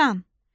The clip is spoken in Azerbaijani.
Şan.